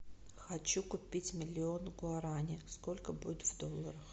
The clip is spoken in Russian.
хочу купить миллион гуарани сколько будет в долларах